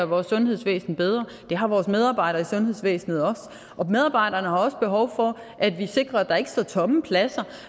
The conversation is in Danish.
vores sundhedsvæsen bedre det har vores medarbejdere i sundhedsvæsenet også og medarbejderne har også behov for at vi sikrer at der ikke står tomme pladser